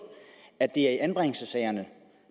at det er i anbringelsessagerne